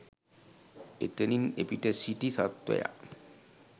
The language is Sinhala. එතනින් එපිට සිටි සත්වයා